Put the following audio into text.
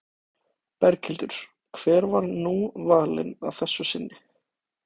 Berghildur, hver var nú valinn að þessu sinni?